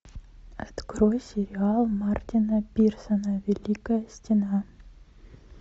открой сериал мартина пирсона великая стена